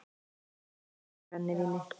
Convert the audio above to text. Fólk í brennivíni